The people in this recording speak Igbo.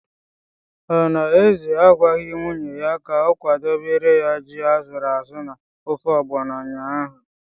Ọ na Eze agwaghị nwunye ya ka ọ kwadebere ya ji asụrụ asụ na ofe Ọgbọnọ ụnyaahụ?